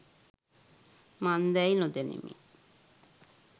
මන්දැයි නොදනිමි.